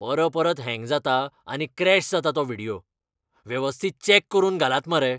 परपरत हँग जाता आनी क्रॅश जाता तो व्हिडियो. वेवस्थीत चॅक करून घालात मरे.